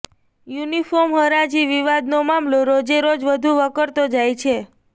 uniform હરાજી વિવાદનો મામલો રોજે રોજ વધુ વકરતો જાય છે